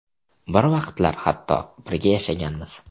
Bir vaqtlar hatto birga yashaganmiz.